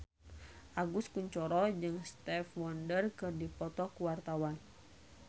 Agus Kuncoro jeung Stevie Wonder keur dipoto ku wartawan